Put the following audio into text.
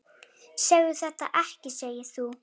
Segðu þetta ekki, segir þú.